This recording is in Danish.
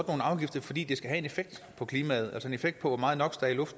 afgifter fordi det skal have en effekt på klimaet altså en effekt på hvor meget no